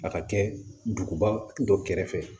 A ka kɛ duguba dɔ kɛrɛfɛ